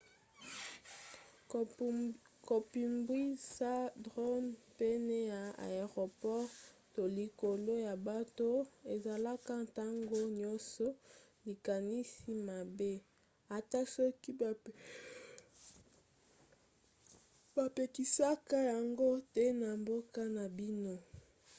kopumbwisa drone pene ya aéroport to likolo ya bato ezalaka ntango nyonso likanisi mabe ata soki bapekisaka yango te na mboka na bino